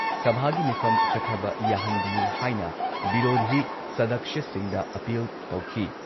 ꯁꯚꯥꯒꯤ ꯃꯤꯐꯝ ꯆꯠꯊꯕ ꯌꯥꯍꯟꯕꯤꯌꯨ ꯍꯥꯏꯅ ꯕꯤꯔꯣꯙꯤ ꯁꯗꯛꯁ꯭ꯌꯁꯤꯡꯗ ꯑꯥꯄꯤꯜ ꯇꯧꯈꯤ ꯫